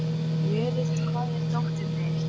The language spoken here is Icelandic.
Jóríður, hvar er dótið mitt?